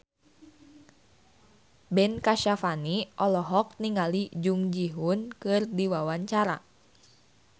Ben Kasyafani olohok ningali Jung Ji Hoon keur diwawancara